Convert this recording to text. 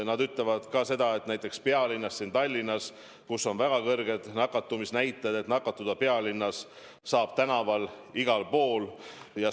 Nemadki ütlevad, et näiteks pealinnas Tallinnas, kus on väga kõrged nakatumisnäitajad, võib nakatuda tänaval ja igal pool mujal.